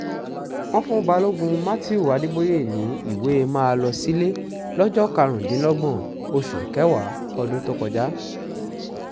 wọ́n fún balógun matthew adeboye ní ìwé máa lọ sílẹ̀ lọ́jọ́ karùndínlọ́gbọ̀n oṣù kẹwàá ọdún tó kọjá